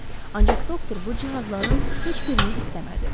Ancaq doktor bu cihazların heç birini istəmədi.